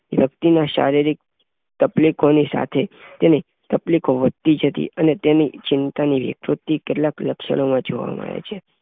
વ્યક્તિમાં શારીરિક તકલીફો ની સાથે તેની તકલીફો વધતી જતી અને તેની ચિંતાની વિકૃતિ કેટલાંક લક્ષણો જોવા મળે છે.